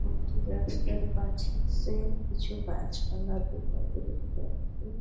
একটি রাস্তার কাজ হচ্ছে-এ- কিছু গাছ পালা দু সাইড -এ দেখতে পাচ্ছি-ই--